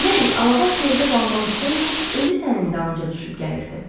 Elə bil Alabaş gerdə qalmaq istəməyib, özü sənin dalınca düşüb gəlirdi.